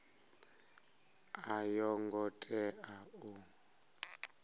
a yo ngo tea u